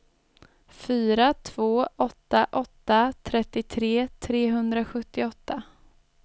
fyra två åtta åtta trettiotre trehundrasjuttioåtta